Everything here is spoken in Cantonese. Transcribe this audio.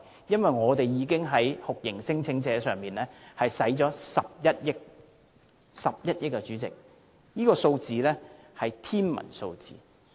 因為我們已在酷刑聲請者身上花了11億元，代理主席，是11億元，這實在是一個天文數字。